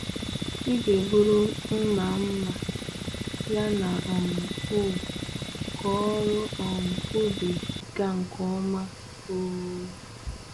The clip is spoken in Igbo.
Ị ga-eburu mma mma yana um hoe ka ọrụ um ubi gaa nke ọma. um